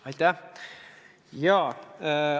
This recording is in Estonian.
Aitäh!